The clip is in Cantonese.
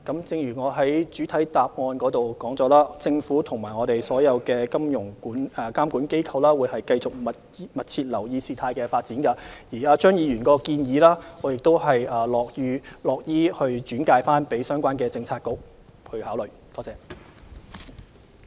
正如我在主體答覆指出，政府與所有金融監管機構會繼續密切留意事態發展，我亦樂意把張議員的建議轉交相關政策局考慮。